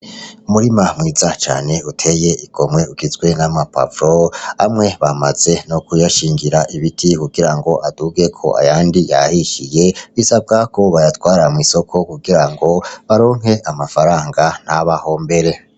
Umurima mwiza cane uteye igomwe, ugizwe nama pavro, amwe bamaze no kuyashingira ibiti kugira ngo adugeko ayandi yahishiye bisabwako bayatwara mw'isoko kugira ngo baronke amafaranga ntaba hombere.